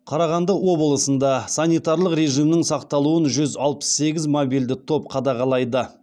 қарағанды облысында санитарлық режимнің сақталуын жүз алпыс сегіз мобильді топ қадағалайды